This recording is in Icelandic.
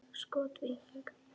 Skot: Víking.